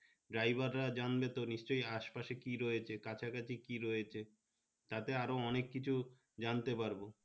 ডাইভাররা জানলে পরে নিশ্চই আসে পাশে কি রয়েছে কাছাকাছি কি রয়েছে তা ছাড়া অনেক কিছু জানতে পারবো